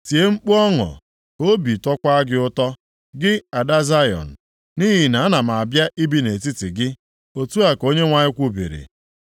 “Tie mkpu ọṅụ, ka obi tọkwaa gị ụtọ, gị Ada Zayọn. Nʼihi na ana m abịa ibi nʼetiti gị,” otu a ka Onyenwe anyị kwubiri.